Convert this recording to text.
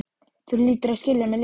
Þú hlýtur að skilja mig líka.